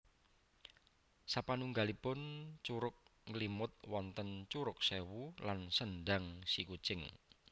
Sapanunggalipun Curug Nglimut wonten Curug Sewu lan Sendang Sikucing